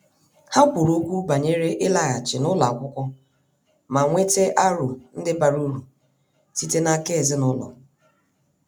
Ha kwuru okwu banyere ịlaghachi n' ụlọ akwụkwọ ma nweta aro ndi bara uru sitere n' aka ezinụlọ.